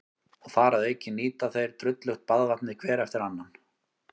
Og þar að auki nýta þeir drullugt baðvatnið hver eftir annan.